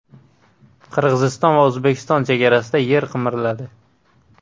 Qirg‘iziston va O‘zbekiston chegarasida yer qimirladi.